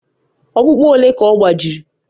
Ọkpụkpụ ole ka ọ gbajiri?